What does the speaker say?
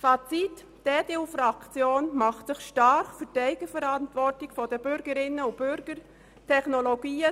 Fazit: Die EDU-Fraktion macht sich für die Eigenverantwortung der Bürgerinnen und Bürger stark.